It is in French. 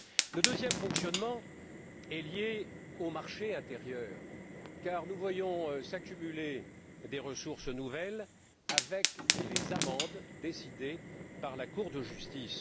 Le deuxième dysfonctionnement est lié au marché intérieur car nous voyons s'accumuler des ressources nouvelles avec les amendes décidées par la Cour de justice.